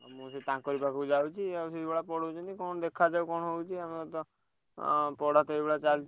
ମୁଁ ସେଇ ତାଙ୍କରି ପାଖକୁ ଯାଉଛି ଆଉ ସେଇଭଳିଆ ପଢଉଛନ୍ତି କଣ ଦେଖା ଯାଉ କଣ ହଉଛି ଆଉ ମୋର ତ, ଆଁ ପଢା ତ ଏଇଭଳିଆ ଚାଲଚି।